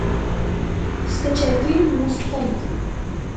скачай фильм мустанг